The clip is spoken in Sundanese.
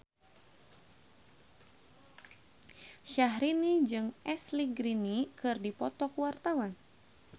Syaharani jeung Ashley Greene keur dipoto ku wartawan